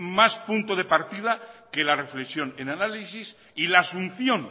más punto de partida que la reflexión el análisis y la asunción